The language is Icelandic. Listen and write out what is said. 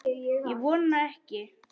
Ég vona ekki